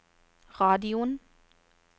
radioen